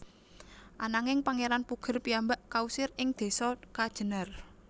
Ananging Pangeran Puger piyambak kausir ing desa Kajenar